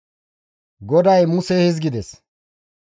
GODAY Muses hizgides,